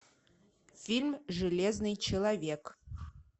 фильм железный человек